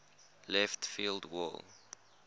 left field wall